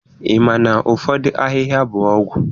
Ị ma na ụfọdụ ahịhịa bụ ọgwụ?